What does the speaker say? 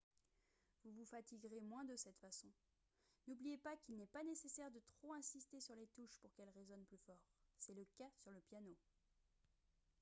vous vous fatigueriez moins de cette façon n'oubliez pas qu'il n'est pas nécessaire de trop insister sur les touches pour qu'elles résonnent plus fort c'est le cas sur le piano